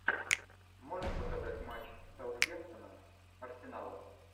можешь показать матч саутгемптона с арсеналом